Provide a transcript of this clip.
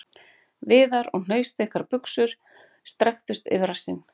Víðar og hnausþykkar buxur strekktust yfir rassinn..